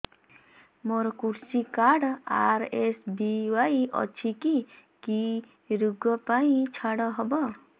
ମୋର କୃଷି card RSBY ଅଛି କି କି ଋଗ ପାଇଁ ଛାଡ଼ ହବ